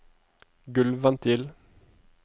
gulvventil